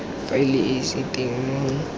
faele e seng teng mo